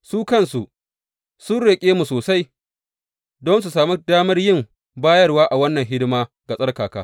Su kansu, sun roƙe mu sosai don su sami damar yin bayarwa a wannan hidima ga tsarkaka.